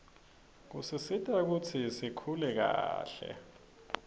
kusisita kutsi sikuhle kahle